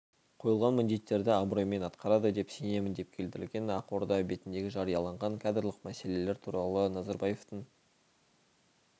қойылған міндеттерді абыроймен атқарады деп сенемін деп келтірілген ақорда бетінде жарияланған кадрлық мәселелер туралы назарбаевтың